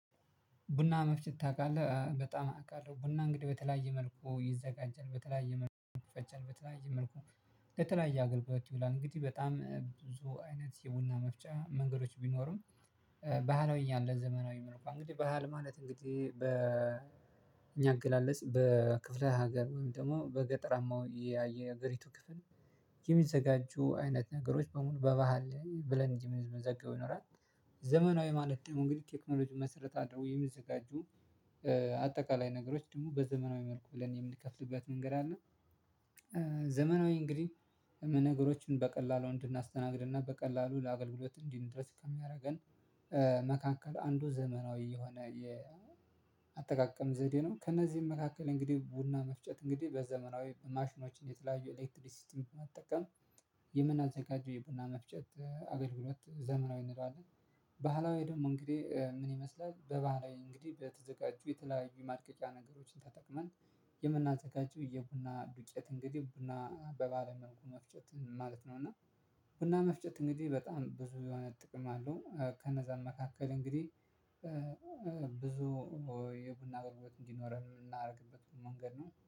ቡና መፍጨት ታውቃለህ በጣም አውቃለሁ። ቡና እንግዲህ በተለያየ መልኩ ይዘጋጃል በተለያየ መልኩ ፈጨል በተለያየ መልኩ በተለያየ አገልግሎት ይላል እንግዲህ በጣም ብዙ አይነት የቡና መፍጫ መንገዶች ቢኖሩም። ባህላዊ ያለ ዘመናዊ ምርኮ እንግዲህ ባህል ማለት እንግዲህ በ እኛ አገላለጽ በክፍለ ሀገር ወይም ደግሞ በገጠራማው ያየ ሀገሪቱ ክፍል የሚዘጋጁ አይነት ነገሮች በሙሉ በባህል ብለን እንጂ መዘጋው ይኖራል። ዘመናዊ ማለት ደግሞ እንግዲህ ኬክኖሎጂ መሰረታቸው የሚዘጋጁ አጠቃላይ ነገሮች ደግሞ በዘመናዊ መልኩ ብለን የምንከፍልበት መንገድ አለ። ዘመናዊ እንግዲህ ነገሮችን በቀላሉ እንድናስተናግድና በቀላሉ ለአገልግሎት እንዲህ እንድረስ ከሚያደርገን መካከል አንዱ ዘመናዊ የሆነ የአጠቃቀም ዘዴ ነው። ከእነዚህም መካከል እንግዲህ ቡና መፍጨት እንግዲህ በዘመናዊ ማሽኖችን የተለያዩ ኤሌክትሪ ሲስተም መጠቀም የምናልቀው የቡና መፍጨት አገልግሎት ዘመናዊ እንላለን። ባህላዊ ደግሞ እንግዲህ ምን ይመስላል? በባህላዊ እንግዲህ ብለው በተዘጋጁ የተለያዩ ማርቀጫ ነገሮችን ተጠቅመን የምናዘጋጁ የቡና ዱቄት እንግዲህ ቡና በባለመንኩ መፍጨት ማለት ነው። እና ቡና መፍጨት እንግዲህ በጣም ብዙ የሆነ ጥቅም አለው። ከነዛ መካከል እንግዲህ ብዙ የቡና አገልግሎት እንዲኖረን የምናደርግበት መንገድ ነው